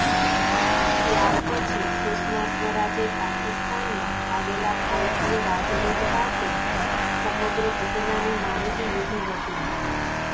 ત્યારપછી સુષમા સ્વરાજે પાકિસ્તાનમાં આવેલા ભારતીય રાજદૂત પાસે સમગ્ર ઘટનાની માહિતી લીધી હતી